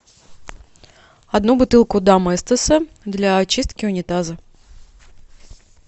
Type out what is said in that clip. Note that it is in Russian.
одну бутылку доместоса для очистки унитаза